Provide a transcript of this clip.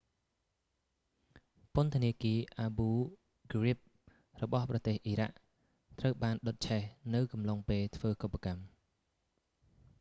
ពន្ធនាគារ abu ghraib របស់ប្រទេសអ៊ីរ៉ាក់ ត្រូវបានដុតឆេះនៅអំឡុងពេលធ្វើកុប្បកម្ម